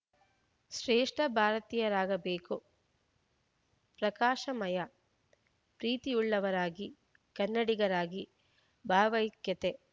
ಶ್ರೇಷ್ಠ ಭಾರತಿಯರಾಗಬೇಕು ಪ್ರಕಾಶಮಯ ಪ್ರೀತಿಯುಳ್ಳವರಾಗಿ ಕನ್ನಡಿಗರಾಗಿ ಭಾವೈಕ್ಯತೆ